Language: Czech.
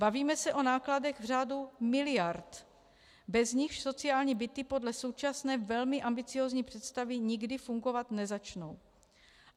Bavíme se o nákladech v řádu miliard, bez nichž sociální byty podle současné velmi ambiciózní představy nikdy fungovat nezačnou.